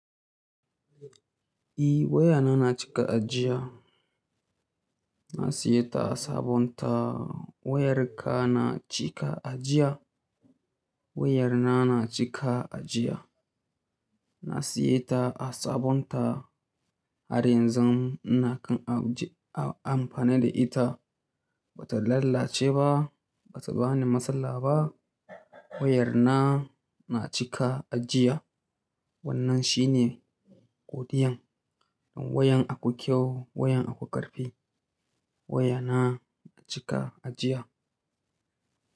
Eh wayana na cika ajiya. Na siya ta a sabon ta. Wayar ka na cika ajiya? Wayar na na cika ajiya. Na siye ta a sabon ta. Har yanzu ina kan amfani da ita. Bata lalace ba, bata bani matsala ba. Wayar na na cika ajiya. Wannan shine godiyan. Wayan akwai kyau, wayan akwai karfi. Wayana a cika ajiya.